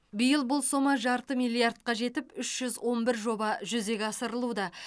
биыл бұл сома жарты миллиардқа жетіп үш жүз он бір жоба жүзеге асырылуда